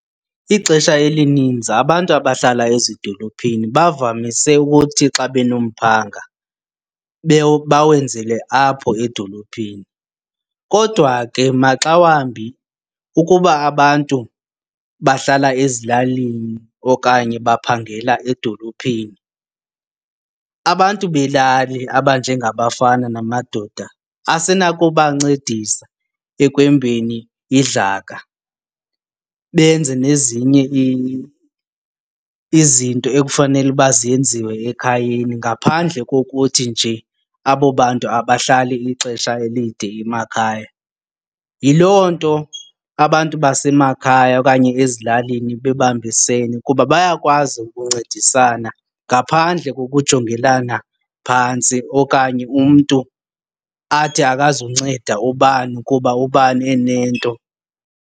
Ixesha elininzi abantu abahlala ezidolophini bavamise ukuthi xa benomphanga bawenzele apho edolophini. Kodwa ke maxawambi ukuba abantu bahlala ezilalini okanye baphangela edolophini, abantu belali abanjengabafana namadoda asenakubancedisa ekwembeni idlaka benze nezinye izinto ekufanele uba zenziwe ekhayeni ngaphandle kokuthi nje abo bantu abahlali ixesha elide emakhaya. Yiloo nto abantu basemakhaya okanye ezilalini bebambisene kuba bayakwazi ukuncedisana ngaphandle kokujongelana phantsi okanye umntu athi akazunceda ubani kuba ubani enento.